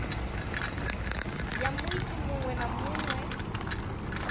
ya muiti muṅwe na muṅwe